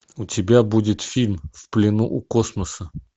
у тебя будет фильм в плену у космоса